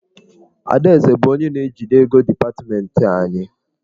Adaeze bụ onye na-ejide ego dipatmentị anyị.